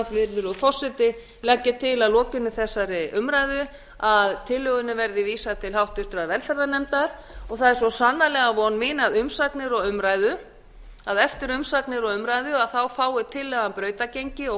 vegna virðulegur forseti legg ég til að lokinni þessari umræðu að tillögunni verði vísað til háttvirtrar velferðarnefndar og það er svo sannarlega von mína að eftir umsagnir og umræðu fái tillagan brautargengi og